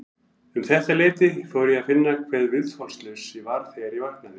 Um þetta leyti fór ég að finna hve viðþolslaus ég var þegar ég vaknaði.